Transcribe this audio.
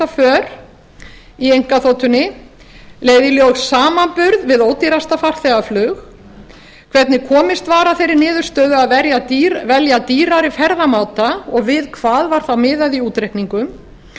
för í einkaþotunni leiða í ljós samanburð við ódýrasta farþegaflug hvernig komist var að þeirri niðurstöðu að velja dýrari ferðamáta og við hvað var þá miðað í útreikningum